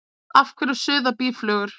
Af hverju suða býflugur?